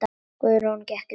Guðrún gekk burt.